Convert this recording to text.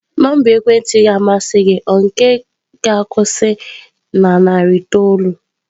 Nọmba ekwentị ga-amasị gị nke ga-akwusi na narị itoolu?